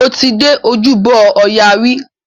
Mo ti dé Ojúbọ ọya rí.